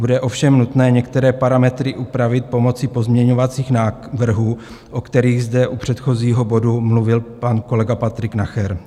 Bude ovšem nutné některé parametry upravit pomocí pozměňovacích návrhů, o kterých zde u předchozího bodu mluvil pan kolega Patrik Nacher.